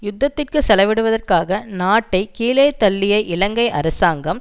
யுத்தத்துக்கு செலவிடுவதற்காக நாட்டை கீழே தள்ளிய இலங்கை அரசாங்கம்